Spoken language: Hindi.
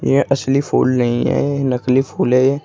यह असली फूल नहीं है नकली फूल हैं।